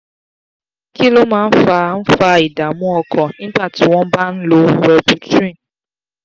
kí ló máa ń fa ń fa ìdààmú ọkàn nígbà tí wọ́n bá ń lo wellbutrin?